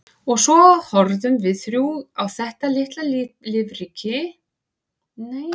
Og svo horfðum við þrjú á þetta litla lífríki og nutum þagnarinnar um stund.